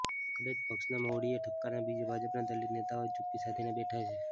કદાચ પક્ષના મોવડીઓના ઠપકાની બીકે ભાજપાના દલિત નેતાઓ ચૂપ્પી સાધીને બેઠા છે